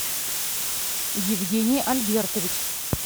евгений альбертович